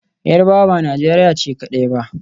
Yarbawa ba Najeriya ce kadai ba.